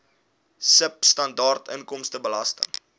sibw standaard inkomstebelasting